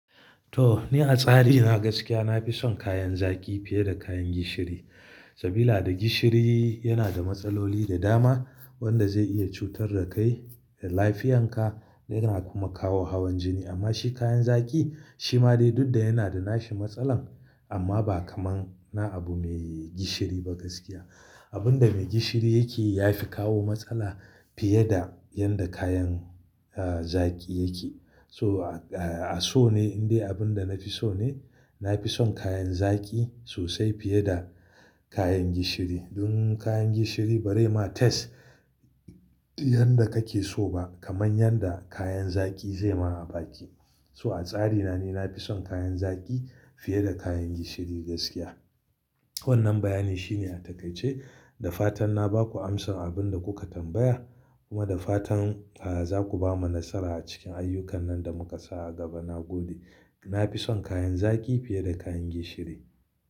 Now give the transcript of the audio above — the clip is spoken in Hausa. To, ni a tsari na gaskiya na fi son kayan zaki fiye da kayan gishiri. Saboda da gishiri yana da matsaloli da dama wanda zai iya cutar da kai da lafiyarka yana kuma kawo hawan jini. Amma shi kayan zaki shi ma dai duk da yana da nashi matsalar amma ba kamar na abu mai gishiri ba gaskiya. Abin da mai gishiri yake yi ya fi kawo matsala fiye da yadda kayan, eh, zaki yake. So a, a so ne indai abin da nafi so ne, nafi son kayan zaki sosai fiye da kayan gishiri. Don kayan gishiri ba zai maka dandano yanda kake so ba kamar yanda kayan zaki zai yi maka a baki. So a tsari na ni nafi son kayan zaki fiye da kayan gishiri gaskiya. Wannan bayani shine a takaice da fatan na ba ku amsar abin da kuka tambaya kuma da fatan, eh, zaku bamu nasara a cikin ayyukan nan da muka sa a gaba. Na gode, nafi son kayan zaki fiye da kayan gishiri.